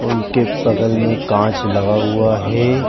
उनके बगल में एक काँच लगा हुआ है।